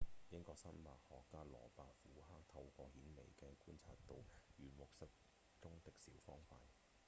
英國生物學家羅伯‧虎克透過顯微鏡觀察到軟木塞中的小方塊